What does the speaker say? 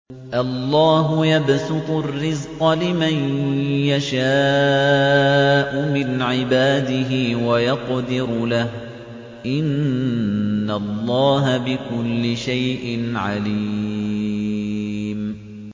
اللَّهُ يَبْسُطُ الرِّزْقَ لِمَن يَشَاءُ مِنْ عِبَادِهِ وَيَقْدِرُ لَهُ ۚ إِنَّ اللَّهَ بِكُلِّ شَيْءٍ عَلِيمٌ